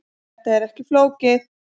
Þetta er ekkert flókið.